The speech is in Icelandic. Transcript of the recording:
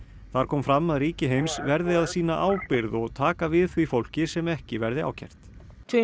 þar kom fram að ríki heims verði að sýna ábyrgð og taka við því fólki sem ekki verði ákært tvær